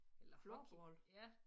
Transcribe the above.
Eller hockey ja